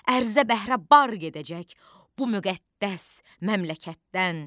Ərzə bəhrə bar gedəcək bu müqəddəs məmləkətdən.